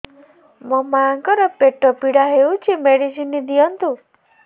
ମୋ ମାଆଙ୍କର ପେଟ ପୀଡା ହଉଛି ମେଡିସିନ ଦିଅନ୍ତୁ